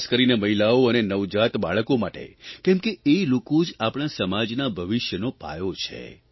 ખાસ કરીને મહિલાઓ અને નવજાત બાળકો માટે કેમ કે એ લોકો જ આપણા સમાજના ભવિષ્યનો પાયો છે